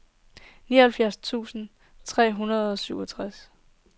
nioghalvfjerds tusind tre hundrede og syvogtres